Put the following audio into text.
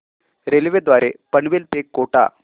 railway द्वारे पनवेल ते कोटा